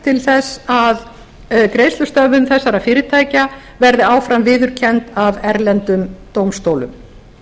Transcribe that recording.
til að greiðslustöðvun þessara fyrirtækja verði áfram viðurkennd af erlendum dómstólum